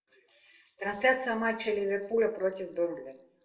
трансляция матча ливерпуля против бернли